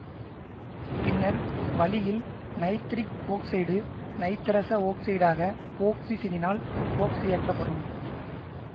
பின்னர் வளியில் nitric oxide நைதரச ஒக்சைடாக ஒக்சிசசினால் ஒக்சியேற்றப்படும்